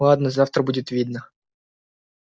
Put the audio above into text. ладно завтра будет видно